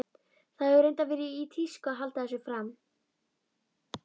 Það hefur reyndar verið í tísku að halda þessu fram.